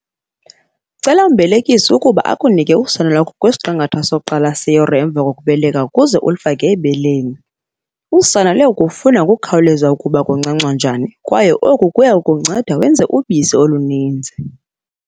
Cela umbelekisi ukuba akunike usana lwakho kwisiqingatha sokuqala seyure emva kokubeleka, ukuze ulufake ebeleni. Usana luya kufunda ngokukhawuleza ukuba kuncancwa njani kwaye oku kuya kukunceda wenze ubisi oluninzi.